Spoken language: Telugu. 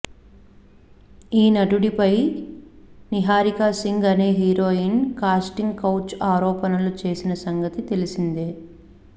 ఈ నటుడిపై నిహారిక సింగ్ అనే హీరోయిన్ కాస్టింగ్ కౌచ్ ఆరోపణలు చేసిన సంగతి తెలిసిందే